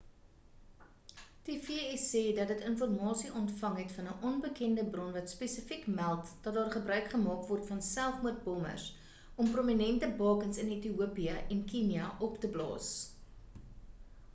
die v.s. sê dat dit informasie ontvang het van 'n onbekende bron wat spesifiek meld dat daar gebruik gemaak word van selfmoord-bommers om prominente bakens in ethiopië en kenia op te blaas